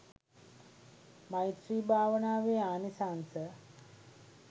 මෛත්‍රී භාවනාවේ ආනිසංස